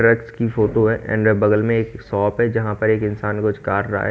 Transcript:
रेगस की फोटो है एंड बगल में एक शॉप है जहा पे इंसान कुछ काट रहा है।